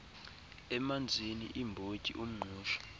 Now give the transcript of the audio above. emanzini iimbotyi umngqusho